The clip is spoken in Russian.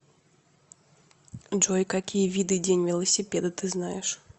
джой какие виды день велосипеда ты знаешь